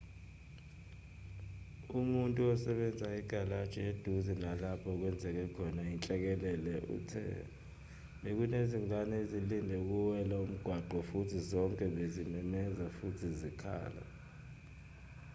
umuntu osebenza egalaji eduze nalapho okwenzeke khona inhlekelele uthe bekunezingane ezilinde ukuwela umgwaqo futhi zonke bezimemeza futhi zikhala